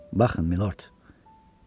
Baxın Minord.